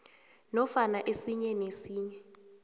nofana esinye nesinye